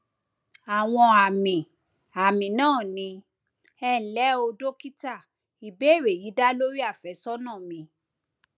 àwọn àmì àmì náà ni ẹnlẹ o dókítà ìbéèrè yìí dá lórí àfẹsọnà mi